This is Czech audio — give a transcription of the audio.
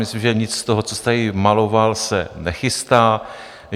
Myslím, že nic z toho, co jste tady maloval, se nechystá.